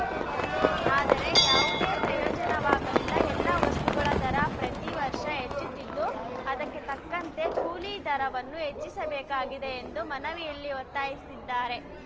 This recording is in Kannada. ಆದರೆ ಯಾವುದೂ ಪ್ರಯೋಜನವಾಗಲಿಲ್ಲ ಎಲ್ಲ ವಸ್ತುಗಳ ದರ ಪ್ರತಿ ವರ್ಷ ಹೆಚ್ಚುತ್ತಿದ್ದು ಅದಕ್ಕೆ ತಕ್ಕಂತೆ ಕೂಲಿ ದರವನ್ನು ಹೆಚ್ಚಿಸಬೇಕಾಗಿದೆ ಎಂದು ಮನವಿಯಲ್ಲಿ ಒತ್ತಾಯಿಸಿದ್ದಾರೆ